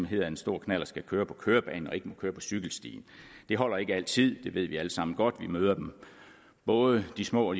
hedder at en stor knallert skal køre på kørebanen og ikke må køre på cykelstien det holder ikke altid det ved vi alle sammen godt vi møder både de små